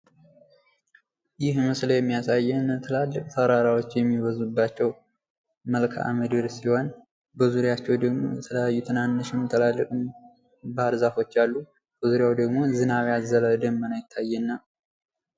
ይህ ምስል የሚያሳየን ትላልቅ ተራራወች የሚበዛባቸው መልክዓ ምድር ሲሆን በዙሪያቸው ደግሞ የተለያዩ ትላልቅም ትናንሽም ባር ዛፎች አሉ በዙሪያው ደግሞ ዝናብ ያዘለ ደመና ይታየናል።